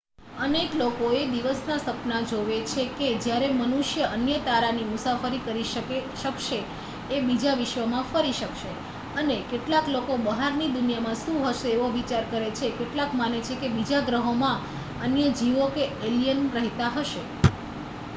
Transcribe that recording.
અનેક લોકો એ દિવસના સપના જોવે છે કે જ્યારે મનુષ્ય અન્ય તારાની મુસાફરી કરી શકશે કે બીજા વિશ્વમાં ફરી શકશે અને કેટલાક લોકો બહારની દુનિયામાં શું હશે એવા વિચારો કરે છે કેટલાક માને છે કે બીજા ગ્રહોમાં અન્ય જીવો કે એલિયન રહેતા હશે